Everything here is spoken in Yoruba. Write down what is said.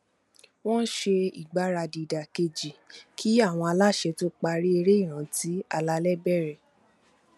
wọn ṣe ìgbaradì ìdákẹjẹ kí àwọn aláṣẹ tó parí eré ìrántí alálẹ bẹrẹ